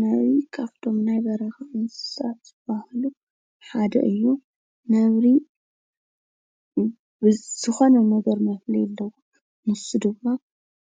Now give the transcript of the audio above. ነብሪ ካብቶም ናይ በረኻ እንስሳት ዝበሃሉ ሓደ እዪ። ነብሪ ዝኮነ ነገር መፍለዪ ነገር አለዎ ንሱ ድማ